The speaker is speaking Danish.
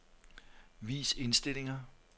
Vis indstillinger.